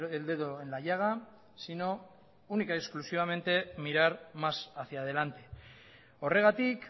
el dedo en la llaga sino única y exclusivamente mirar más hacia adelante horregatik